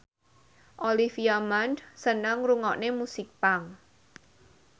Olivia Munn seneng ngrungokne musik punk